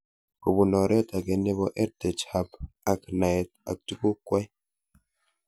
Kopun oret ag'e nepo EdTech Hub ak naet ak tuguk kwai